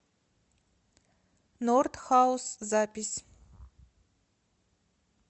норт хаус запись